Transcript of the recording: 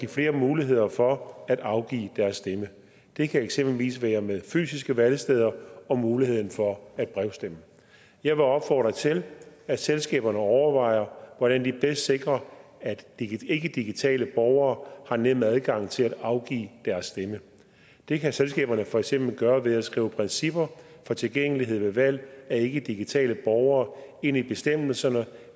flere muligheder for at afgive deres stemme det kan eksempelvis være med fysiske valgsteder og muligheden for at brevstemme jeg vil opfordre til at selskaberne overvejer hvordan de bedst sikrer at ikkedigitale borgere har nem adgang til at afgive deres stemme det kan selskaberne for eksempel gøre ved at skrive principper for tilgængelighed ved valg af ikkedigitale borgere ind i bestemmelserne